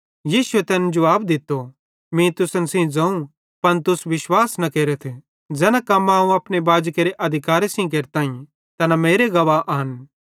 यीशुए तैन जुवाब दित्तो मीं तुसन सेइं ज़ोवं पन तुस विश्वास न केरथ ज़ैना कम्मां अवं अपने बाजी केरे अधिकारे सेइं केरताईं तैना मेरे गवाह आन